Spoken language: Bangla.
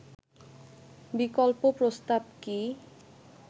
বিকল্প প্রস্তাব কি